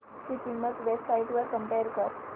ची किंमत web sites वर कम्पेअर कर